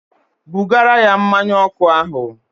Bugara ya mmanụ ọkụ ahụ!